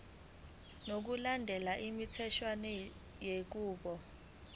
ngokulandela imitheshwana yenqubo